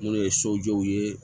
Minnu ye sojɔw ye